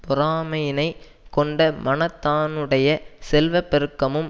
பொறாமையினைக் கொண்ட மனத்தானுடைய செல்வ பெருக்கமும்